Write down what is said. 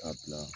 A bila